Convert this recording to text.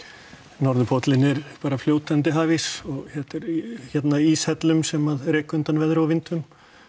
norðurpóllinn er bara fljótandi hafís og þetta er í íshellum sem reka undan veðri og vindum